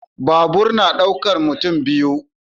Babur yana daukar mutum biyu.